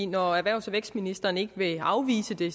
når erhvervs og vækstministeren ikke vil afvise det